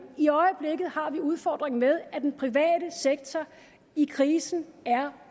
i øjeblikket har vi udfordringen med at den private sektor i krisen er